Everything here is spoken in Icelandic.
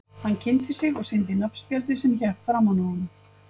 Hann kynnti sig og sýndi nafnspjaldið sem hékk framan á honum.